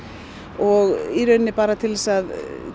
og í rauninni bara til þess að